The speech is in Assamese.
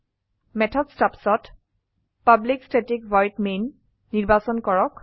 মেথড stubsত পাব্লিক ষ্টেটিক ভইড মেইন নিৰ্বাচন কৰক